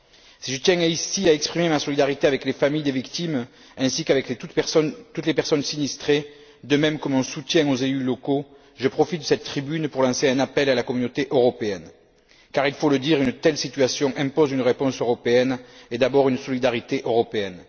Si je tiens ici à exprimer ma solidarité avec les familles des victimes ainsi qu'avec toutes les personnes sinistrées, de même que mon soutien aux élus locaux, je profite de cette tribune pour lancer un appel à la Communauté européenne car, il faut le dire, une telle situation impose une réponse européenne et d'abord une solidarité européenne.